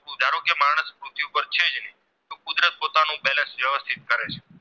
કરે છે